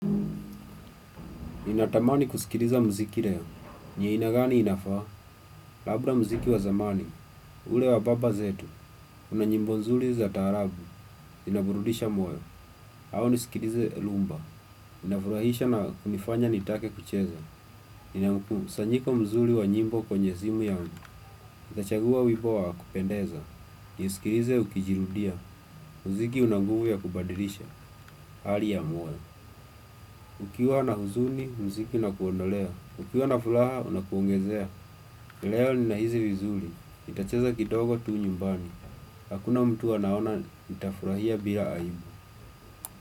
Ninatamani kusikiriza mziki reo. Ni aina gani inafaa? Labra mziki wa zamani. Ule wa baba zetu. Kuna nyimbo nzuri za taarabu. Inaburudisha moyo. Au nisikirize lumba. Inafurahisha na kunifanya nitake kucheza. Nina ukusanyiko mzuri wa nyimbo kwenye simu yangu. Nitachagua wimbo wa kupendeza. Nisikirize ukijirudia. Mziki una nguvu ya kubadilisha. Hali ya moyo. Ukiwa na huzuni, mziki inakuondolea. Ukiwa na fulaha, unakuongezea. Leo ninahizi vizuli. Nitacheza kidogo tu nyumbani. Hakuna mtu anaona, nitafurahia bila aibu.